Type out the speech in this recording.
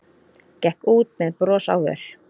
Gekk út með bros á vör.